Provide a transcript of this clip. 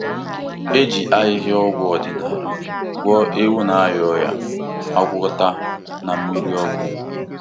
E ji ahịhịa ọgwụ ọdịnala gwọọ ewu na-arịa ọrịa agwakọta na mmiri ọkụ.